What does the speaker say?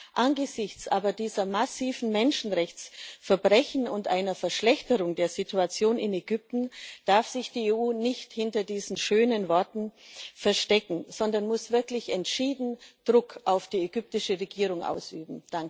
Aber angesichts ber dieser massiven Menschenrechtsverbrechen und einer Verschlechterung der Situation in Ägypten darf sich die EU nicht hinter diesen schönen Worten verstecken, sondern muss wirklich entschieden Druck auf die ägyptische Regierung ausüben.